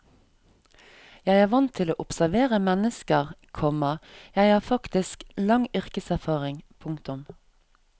Jeg er vant til å observere mennesker, komma jeg har faktisk lang yrkeserfaring. punktum